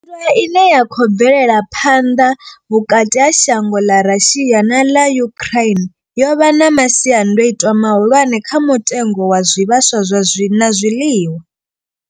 Nndwa ine ya khou bvelela phanḓa vhukati ha shango ḽa Russia na ḽa Ukraine yo vha na masiandaitwa mahulwane kha mutengo wa zwivhaswa zwa na zwiḽiwa.